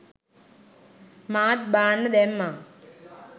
මාත් බාන්න දැම්මා